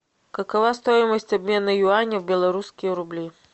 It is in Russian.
какова стоимость обмена юаня в белорусские рубли